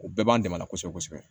O bɛɛ b'an dɛmɛ la kosɛbɛ kosɛbɛ